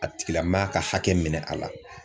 A tigilamaa ka hakɛ minɛ a la.